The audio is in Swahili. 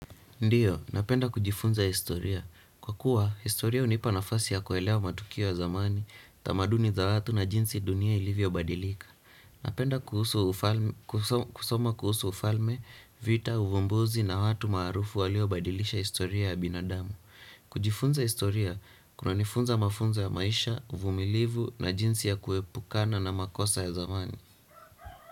Ndiyo, napenda kujifunza historia. Kwa kuwa, historia hunipa nafasi ya kuelewa matukio ya zamani, tamaduni za watu na jinsi dunia ilivyo badilika. Napenda kusoma kuhusu ufalme, vita, uvumbuzi na watu maarufu waliobadilisha historia ya binadamu. Kujifunza historia, kuna nifunza mafunzo ya maisha, uvumilivu na jinsi ya kuepukana na makosa ya zamani.